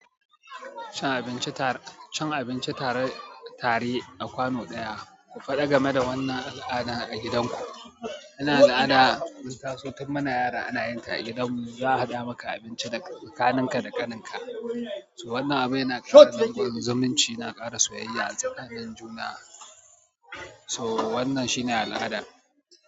Cin abinci ta--, cin abinci tare, tare a kwano ɗaya. Ku faɗa game da wannan al'ada a gidanku. Wannan al'ada mun taso tun muna yara ana yin ta a gidan mu. Za a haɗa maka abinci da tsakaninka da ƙaninka. To wannan abu yana ƙara dankon zumunci, na aƙara soyayya a tsakanin juna. To wannan shine al'ada.